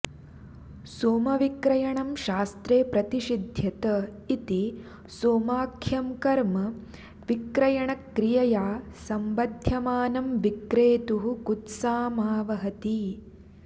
सोमविक्रयणं शास्त्रे प्रतिषिध्यत इति सोमाख्यं कर्म विक्रयणक्रियया सम्बध्यमानं विक्रेतुः कुत्सामावहति